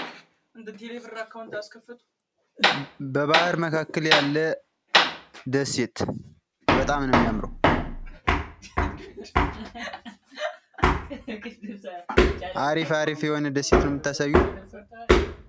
በባህር መካከል ያለ ደሴት በጣም ነው የሚያምረው አሪፍ አሪፍ የሆነ ደሴት ነው የምታሳዩን።